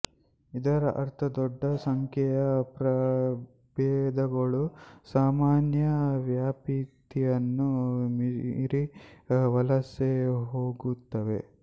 ಇದರ ಅರ್ಥ ದೊಡ್ಡ ಸಂಖ್ಯೆಯ ಪ್ರಭೇದಗಳು ಸಾಮಾನ್ಯ ವ್ಯಾಪ್ತಿಯನ್ನು ಮೀರಿ ವಲಸೆ ಹೋಗುತ್ತವೆ